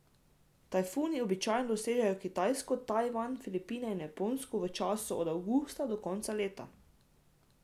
Tajfuni običajno dosežejo Kitajsko, Tajvan, Filipine in Japonsko v času od avgusta do konca leta.